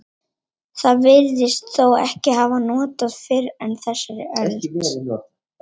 Það virðist þó ekki hafa verið notað fyrr en á þessari öld.